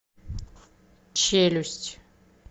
челюсть